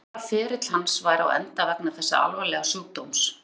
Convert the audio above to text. Óttast var að ferill hans væri á enda vegna þessa alvarlega sjúkdóms.